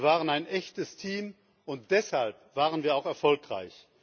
Wir waren ein echtes Team, und deshalb waren wir auch erfolgreich.